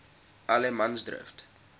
allemansdrift